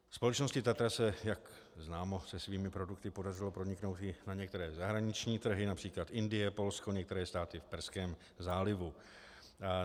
Společnosti TATRA se, jak známo, se svými produkty podařilo proniknout i na některé zahraniční trhy, například Indie, Polska, některých států v Perském zálivu.